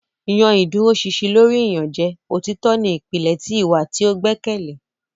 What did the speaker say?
yan iduroṣinṣin lori iyanjẹ; Otitọ ni ipilẹ ti iwa ti o gbẹkẹle.